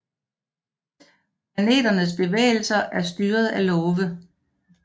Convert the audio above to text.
Planeternes bevægelser er styret af love